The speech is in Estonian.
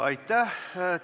Aitäh!